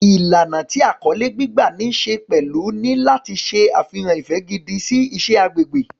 Ìlànà tí àkọlé gbígbà ní ṣe pẹ̀lú ni láti ṣe àfihàn ìfẹ́ gidi sí iṣẹ́ agbègbè.